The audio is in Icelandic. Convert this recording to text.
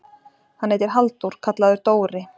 Hann heitir Halldór, kallaður Dóri.